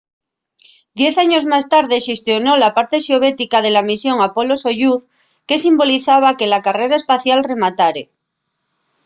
diez años más tarde xestionó la parte soviética de la misión apolo-soyuz que simbolizaba que la carrera espacial rematare